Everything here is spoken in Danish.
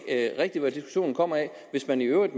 rigtig hvad diskussionen kommer af hvis man i øvrigt